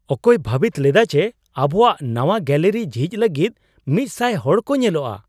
ᱚᱠᱚᱭ ᱵᱷᱟᱹᱵᱤᱛ ᱞᱮᱫᱟ ᱡᱮ ᱟᱵᱚᱣᱟᱜ ᱱᱟᱶᱟ ᱜᱮᱞᱟᱨᱤ ᱡᱷᱤᱡ ᱞᱟᱹᱜᱤᱫ ᱑᱐᱐ ᱦᱚᱲ ᱠᱚ ᱧᱮᱞᱚᱜᱚᱜᱼᱟ ?